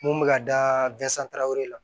Mun bɛ ka da la